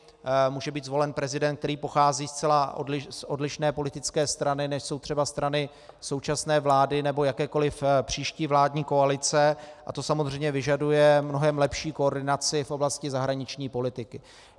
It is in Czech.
Může být zvolen prezident, který pochází zcela z odlišné politické strany, než jsou třeba strany současné vlády nebo jakékoliv příští vládní koalice, a to samozřejmě vyžaduje mnohem lepší koordinaci v oblasti zahraniční politiky.